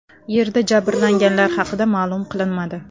Yerda jabrlanganlar haqida ma’lum qilinmadi.